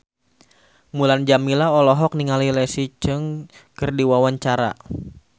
Mulan Jameela olohok ningali Leslie Cheung keur diwawancara